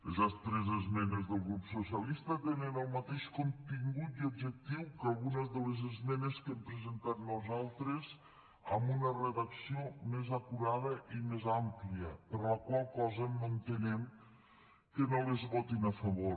les tres esmenes del grup socialista tenen el mateix contingut i objectiu que algunes de les esmenes que hem presentat nosaltres amb una redacció més acurada i més àmplia per la qual cosa no entenem que no les votin a favor